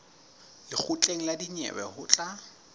lekgotleng la dinyewe ho tla